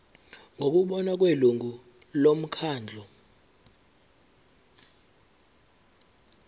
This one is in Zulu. ngokubona kwelungu lomkhandlu